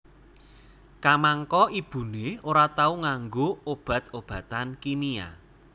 Kamangka ibuné ora tau nganggo obat obatan kimia